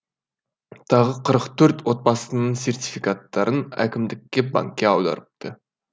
тағы қырық төрт отбасының сертификаттарын әкімдікке банкке аударыпты